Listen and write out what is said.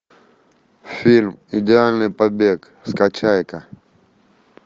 фильм идеальный побег скачай ка